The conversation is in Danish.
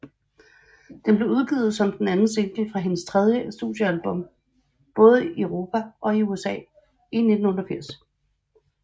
Den blev udgivet som den anden single fra hendes tredje studiealbum i både Europa og USA i 1988